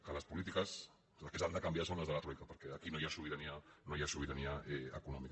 que les polítiques que s’han de canvi·ar són les de la troica perquè aquí no hi ha sobirania no hi ha sobirania econòmica